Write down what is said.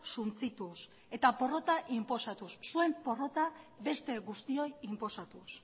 suntsituz eta porrota inposatuz zuen porrota beste guztioi inposatuz